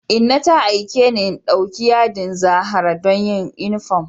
Inna ta aike ni in ɗauki yadin zahara don yin yunifom